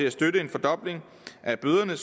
at støtte en fordobling af bøderne